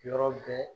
Yɔrɔ bɛɛ